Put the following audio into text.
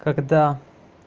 когда